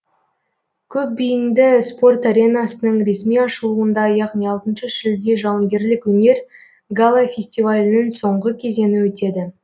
көп бейінді спорт аренасының ресми ашылуында яғни алтыншы шілде жауынгерлік өнер гала фестивалінің соңғы кезеңі өтеді